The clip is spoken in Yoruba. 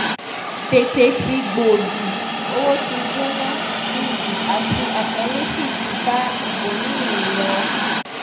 tètè tí gbòdì owó tí jóná iyì àti àpọ́nlé sí ti bá ibòmí-ì ń lọ